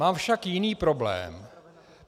Mám však jiný problém.